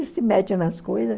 E se mete nas coisa.